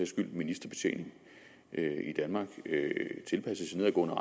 skyld ministerbetjening i danmark tilpasses i nedadgående